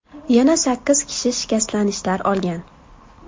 Yana sakkiz kishi shikastlanishlar olgan.